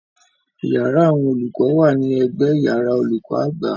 Iyàrá àwọn olùkọ wa ni ẹ̀gbẹ iyàrá olùkọ àgbà.